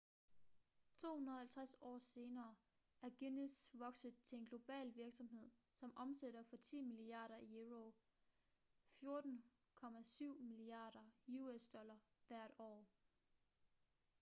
250 år senere er guinness vokset til en global virksomhed som omsætter for 10 milliarder euro 14,7 miliarder us$ hvert år